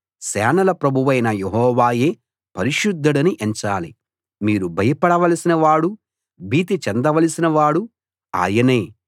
సేనల ప్రభువైన యెహోవాయే పరిశుద్ధుడని ఎంచాలి మీరు భయపడవలసిన వాడు భీతి చెందవలసిన వాడు ఆయనే